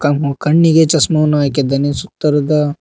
ಅವನು ಕಣ್ಣಿಗೆ ಚಶ್ಮವನ್ನು ಹಾಕಿದ್ದಾನೆ ಸುತ್ತರದ--